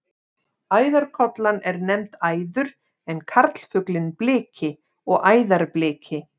Æðarkollan er nefnd æður en karlfuglinn bliki og æðarbliki.